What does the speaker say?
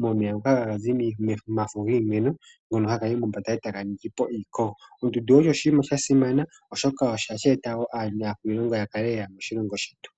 momeya ngoka hagazi momafo giimeno ngono hagayi mombanda etaga ningipo iikogo. Ondundu osho oshinima shasimana oshoka ohashi eta woo aantu yakale yeya moshilongo shetu.